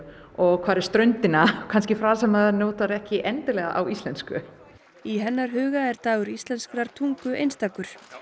og hvar er ströndina kannski frasar sem maður notar ekki endilega á íslensku í hennar huga er dagur íslenskrar tungu einstakur